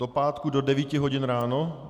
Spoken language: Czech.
Do pátku do 9 hodin ráno?